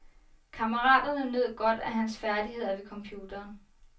Kammeraterne nød godt af hans færdigheder ved computeren.